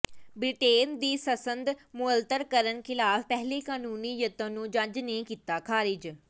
Britain ਦੀ ਸੰਸਦ ਮੁਅੱਤਲ ਕਰਨ ਖਿਲਾਫ ਪਹਿਲੇ ਕਾਨੂੰਨੀ ਯਤਨ ਨੂੰ ਜੱਜ ਨੇ ਕੀਤਾ ਖਾਰਿਜ